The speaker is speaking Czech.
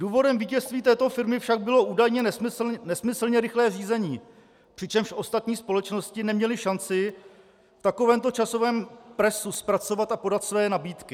Důvodem vítězství této firmy však bylo údajně nesmyslně rychlé řízení, přičemž ostatní společnosti neměly šanci v takovémto časovém presu zpracovat a podat své nabídky.